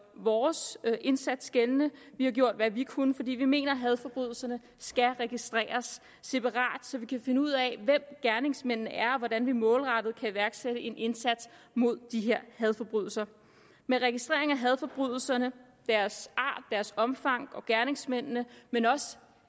vores indsats gældende vi har gjort hvad vi kunne for vi mener hadforbrydelserne skal registreres separat så man kan finde ud af hvem gerningsmændene er og hvordan man målrettet kan iværksætte en indsats mod de her hadforbrydelser med registrering af hadforbrydelserne deres art deres omfang og gerningsmændene men også